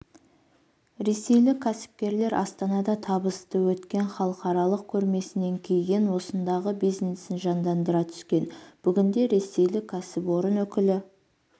ресейлік кәсіпкерлер астанада табысты өткен халықаралық көрмесінен кейін осындағы бизнесін жандандыра түскен бүгінде ресейлік кәсіпорын өкілі